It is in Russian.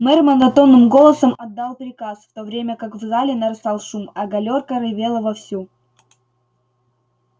мэр монотонным голосом отдал приказ в то время как в зале нарастал шум а галёрка ревела вовсю